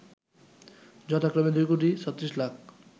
যথাক্রমে ২ কোটি ৩৬ লাখ